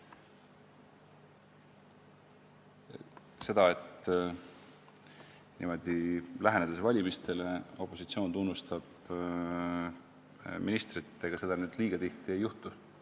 Ega seda, et valimistele lähenedes opositsioon niimoodi ministrit tunnustab, nüüd liiga tihti ei juhtu.